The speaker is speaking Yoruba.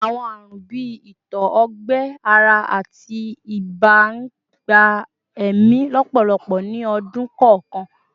Awọn arun bii itọ-ọgbẹ-ara ati iba n gba ẹmi lọpọlọpọ ni ọdun kọọkan